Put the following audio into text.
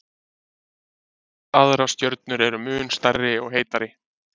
Margar aðrar stjörnur eru mun stærri og heitari.